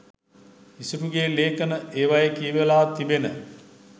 ඉසුරුගෙ ලේඛන ඒවයෙ කියවිලා තිබෙන